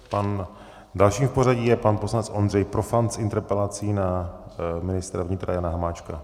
Dalším v pořadí je pan poslanec Ondřej Profant s interpelací na ministra vnitra Jana Hamáčka.